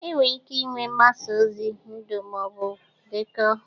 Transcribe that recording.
Enwere ike ịnwe mgbasa ozi ndụ ma ọ bụ dekọọ